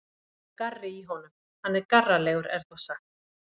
Það er garri í honum, hann er garralegur er þá sagt.